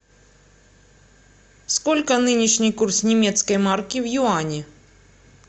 сколько нынешний курс немецкой марки в юани